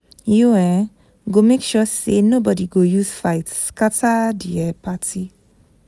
You um go make sure sey nobodi go use fight scatter di um party.